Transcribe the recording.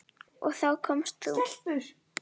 Og þá komst þú.